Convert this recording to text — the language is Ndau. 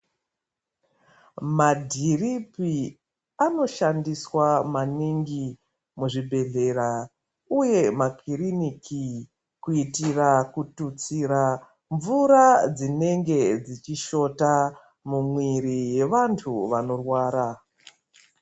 Madhiripi anoshandiswa maningi muzvibhedhlera uye makiriniki kuitira kututsira mvura dzinonga dzechishota mumuiri yevantu vanorwara.